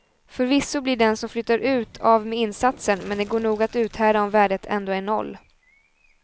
Förvisso blir den som flyttar ut av med insatsen, men det går nog att uthärda om värdet ändå är noll.